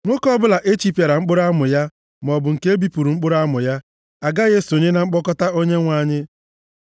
Nwoke ọbụla echipịara mkpụrụ amụ ya, maọbụ nke e bipụrụ mkpụrụ amụ ya, agaghị esonye na mkpọkọta Onyenwe anyị.